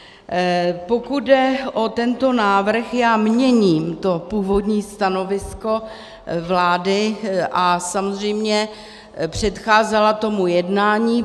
Pokud jde o tento návrh, já měním to původní stanovisko vlády, a samozřejmě předcházela tomu jednání.